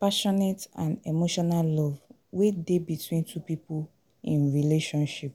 passionate and emotional love wey dey between two people in relationship.